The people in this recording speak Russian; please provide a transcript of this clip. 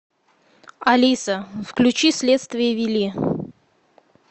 алиса включи следствие вели